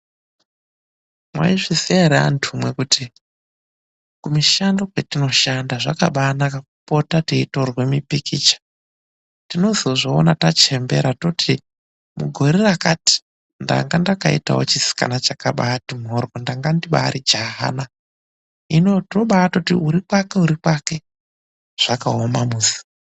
Maizviziva here andumwi kuti kumishando kwatinoba shanda zvakabaanaka kupota teitorwe mupikicha. Tinozozviona tachembera toti mugore rakati ndanga ndakaitawo chisikana chakabaati mhoryo, ndanga ndibaari jahana. Hino tobaati uri kwake uri kwake, zvakaoma musi.